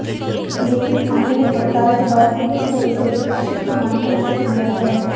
लेकिन थाने में पड़ताल के बाद पुलिस ने इसे विक्षिप्त मान कर छोड़ दिया है